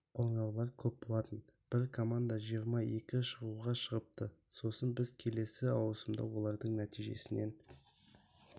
қоңыраулар көп болатын бір команда жиырма екі шығуға шығыпты сосын біз келесі ауысымда олардың нәтижесінен